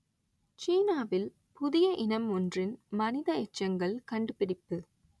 சீனாவில் புதிய இனம் ஒன்றின் மனித எச்சங்கள் கண்டுபிடிப்பு